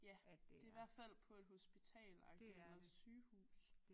Ja det er i hvert fald på et hospitalagtig eller sygehus